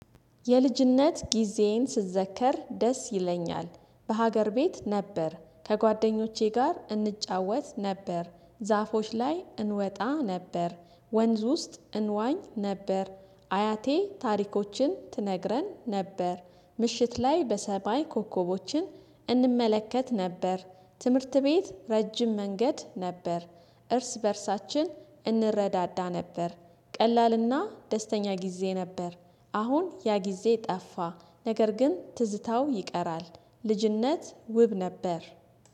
የልጅነት ጊዜዬን ስዘከር ደስ ይለኛል በሀገር ቤት ነበር ከጓደኞቼ ጋር እንጫወት ነበር ዛፎች ላይ እንወጣ ነበር፤ ወንዝ ውስጥ እንዋኝ ነበር አያቴ ታሪኮችን ትነግረን ነበር ምሽት ላይ በሰማይ ኮከቦችን እንመለከት ነበር፤ ትምህርት ቤት ረጅም መንገድ ነበር፤ እርስ በእርሳችን እንረዳዳ ነበር ቀላልና ደስተኛ ጊዜ ነበር አሁን ያ ጊዜ ጠፋ ነገር ግን ትዝታው ይቀራል ልጅነት ውብ ነበር።